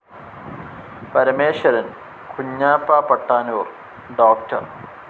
Parameswaran, Kunhappa Pattanur, doctor.